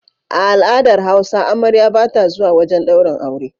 A al'adar hausa amarya bata zuwa wajan daurin aure